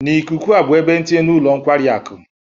N'ikuku a bụ ebe ntinye na ụlọ nkwari akụ